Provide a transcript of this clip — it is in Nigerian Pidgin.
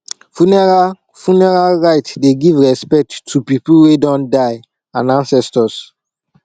funeral funeral rites dey give respect to pipo wey don die and ancestors